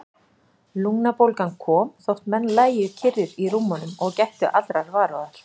Lungnabólgan kom, þótt menn lægju kyrrir í rúmunum og gættu allrar varúðar.